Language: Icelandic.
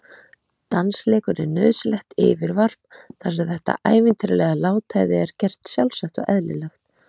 Dansleikur er nauðsynlegt yfirvarp þar sem þetta ævintýralega látæði er gert sjálfsagt og eðlilegt.